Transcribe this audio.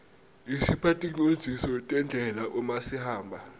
isipha ticondziso tendlela uma sihamba